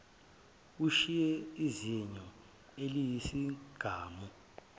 ushiye izinyo eliyisigamu